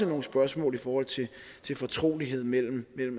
nogle spørgsmål i forhold til til fortroligheden mellem